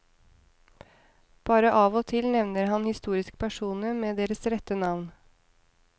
Bare av og til nevner han historiske personer med deres rette navn.